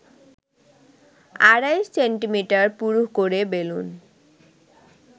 আড়াই সেমি পুরু করে বেলুন